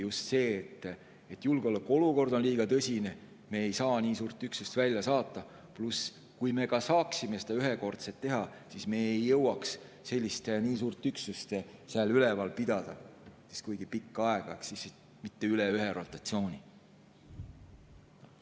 Just see, et julgeolekuolukord on liiga tõsine, me ei saa nii suurt üksust välja saata, pluss see, et kui me saaksime seda ühekordselt teha, siis me ei jõuaks nii suurt üksust seal pidada kuigi pikka aega ehk mitte üle ühe rotatsiooni.